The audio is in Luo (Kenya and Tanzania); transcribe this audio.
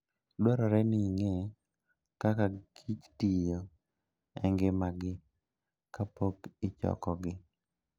Dwarore ni ing'e kaka kichtiyo e ngimagi kapok ichokogi.